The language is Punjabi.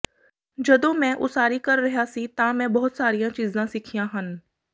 ਜਦੋਂ ਮੈਂ ਉਸਾਰੀ ਕਰ ਰਿਹਾ ਸੀ ਤਾਂ ਮੈਂ ਬਹੁਤ ਸਾਰੀਆਂ ਚੀਜ਼ਾਂ ਸਿੱਖੀਆਂ ਹਨ